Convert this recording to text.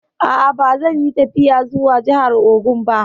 A'a, ba zan yi tafiya zuwa jahar Ogun ba